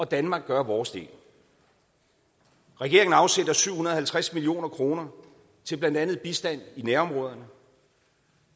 danmark gør vores del regeringen afsætter syv hundrede og halvtreds million kroner til blandt andet bistand i nærområderne